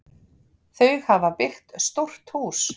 Þau hafa byggt stórt hús.